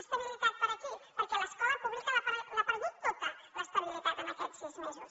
estabilitat per a qui perquè l’escola pública l’ha perdut tota l’estabilitat en aquests sis mesos